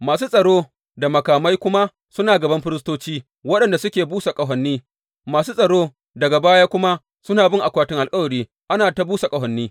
Masu tsaro da makamai kuma suna gaban firistoci waɗanda suke busa ƙahoni, masu tsaro daga baya kuma suna bin akwatin alkawari, ana ta busa ƙahoni.